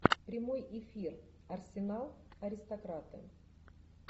прямой эфир арсенал аристократы